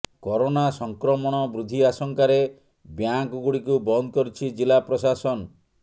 corona ସଂକ୍ରମଣ ବୃଦ୍ଧି ଆଶଙ୍କାରେ ବ୍ୟାଙ୍କଗୁଡ଼ିକୁ ବନ୍ଦ କରିଛି ଜିଲ୍ଲା ପ୍ରଶାସନ